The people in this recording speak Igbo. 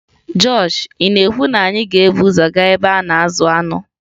Josh ị na-ekwu na anyị ga-ebu ụzọ gaa ebe a na-azụ anụ?